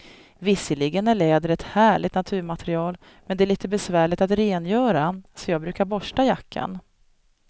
Visserligen är läder ett härligt naturmaterial, men det är lite besvärligt att rengöra, så jag brukar borsta jackan.